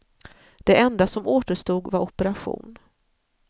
Det enda som återstod var operation.